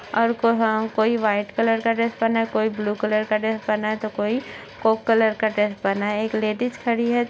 और कहा कोई वाइट कलर का ड्रेस पहना है कोई ब्लू कलर का ड्रेस पहना है तो कोई कोक कलर का ड्रेस पहना है। एक लेडीज खड़ी है।